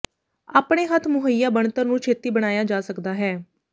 ਆਪਣੇ ਹੱਥ ਮੁਹੱਈਆ ਬਣਤਰ ਨੂੰ ਛੇਤੀ ਬਣਾਇਆ ਜਾ ਸਕਦਾ ਹੈ